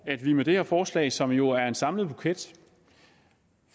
at vi med det her forslag som jo er en samlet buket